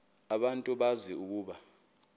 abantu bazi ukuba